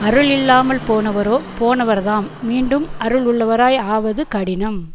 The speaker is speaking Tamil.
அருள் இல்லாமல் போனவரோ போனவர்தாம் மீண்டும் அருள் உள்ளவராய் ஆவது கடினம்